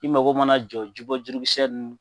I mako mana jɔ ji bɔ jurukisɛ ninnu